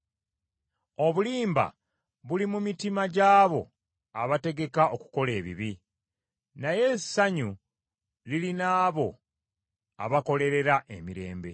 Obulimba buli mu mitima gyabo abategeka okukola ebibi, naye essanyu liri n’abo abakolerera emirembe.